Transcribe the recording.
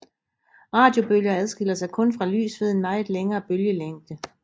Radiobølger adskiller sig kun fra lys ved en meget længere bølgelængde